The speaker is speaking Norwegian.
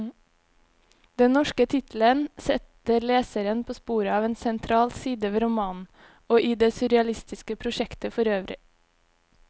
Den norske tittelen setter leseren på sporet av en sentral side ved romanen, og i det surrealistiske prosjektet forøvrig.